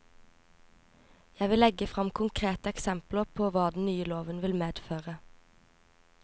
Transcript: Jeg vil legge frem konkrete eksempler på hva den nye loven vil medføre.